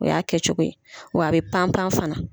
O y'a kɛcogo ye. Wa a bɛ pan pan fana.